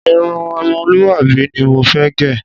Irun o̩mo̩lúwàbí ni mo fé̩ gè̩.